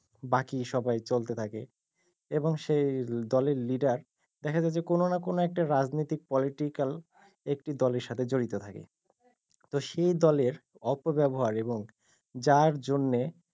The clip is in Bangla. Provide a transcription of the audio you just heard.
বাকি সবাই চলতে থাকে এবং সেই দলের leader দেখা যায় যে কোনো না কোনো একটা রাজনীতি political একটি দলের সাথে জড়িত থাকে তো সেই দলের অপব্যাবহার এবং যার জন্যে,